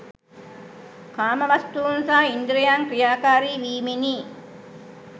කාමවස්තූන් සහ ඉන්ද්‍රියන් ක්‍රියාකාරී වීමෙනි.